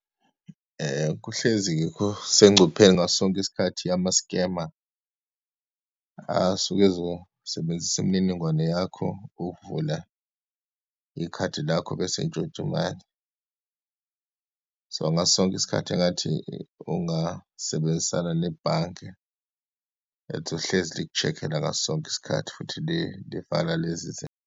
Kuhlezi yikho kusengcupheni ngaso sonke isikhathi yama-scammer, asuke ezosebenzisa imininingwane yakho ukuvula ikhadi lakho, bese entshontsha imali. So, ngaso sonke isikhathi engathi ungasebenzisana nebhange ethi lihlezi liku-check-ela ngaso sonke isikhathi, futhi livala lezi .